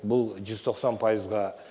бұл жүз тоқсан пайызға